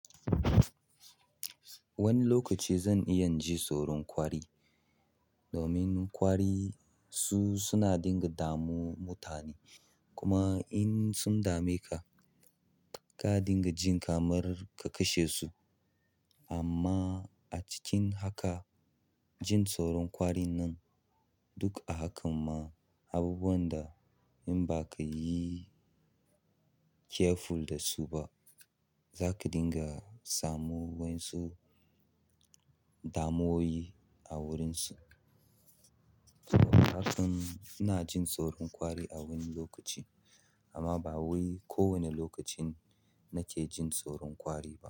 Wani lokaci zan iya jin tsoron ƙwari domin ƙwari su suna dinga damu mutane. Kuma in sun dame ka, ka dinga jin kamar ka kashe su. Amma a cikin haka, jin tsoron ƙwari nan duk a hakan ma abubuwan da in ba ka yi careful da su ba, za ka dinga samu wansu damuwoyi a wurinsu. Saboda hakan ina jin tsoron ƙwari a wani lokaci amma ba wai kowani lokacin nake jin tsoron ƙwari ba.